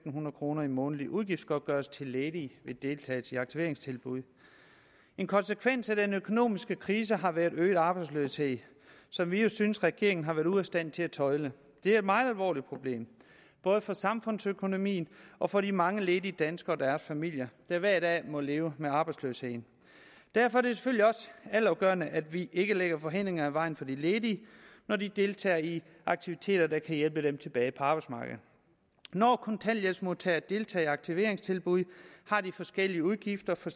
kroner i månedlig udgiftsgodtgørelse til ledige ved deltagelse i aktiveringstilbud en konsekvens af den økonomiske krise har været øget arbejdsløshed som vi jo synes regeringen har været ude af stand til at tøjle det er et meget alvorligt problem både for samfundsøkonomien og for de mange ledige danskere og deres familier der hver dag må leve med arbejdsløsheden derfor er det selvfølgelig også altafgørende at vi ikke lægger hindringer i vejen for de ledige når de deltager i aktiviteter der kan hjælpe dem tilbage på arbejdsmarkedet når kontanthjælpsmodtagere deltager i aktiveringstilbud har de forskellige udgifter for